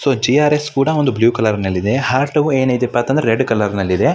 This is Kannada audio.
ಸೊ ಜಿಆರ್ಸ್ ಕೂಡ ಬ್ಲೂ ಕಲರ್ ಇದೆ ಹಾರ್ಟ್ ಏನಪ್ಪಾ ಅಂದ್ರೆ ರೆಡ್ ಕಲರ್ ಇದೆ.